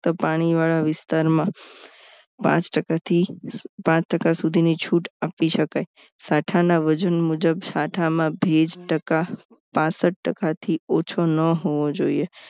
પાણીવાળા વિસ્તારમાં પાંચ ટકાથી પાંચ ટકા સુધીની છૂટ આપી શકાય સાઠાના વજન મુજબ સાઠામાં ભેજ ટકા પાનસઠ ટકા થી ઓછો ન હોવો જોઈએ